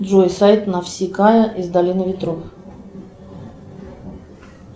джой сайт навсикая из долины ветров